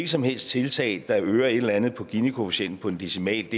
som helst tiltag der øger et eller andet på ginikoefficienten på en decimal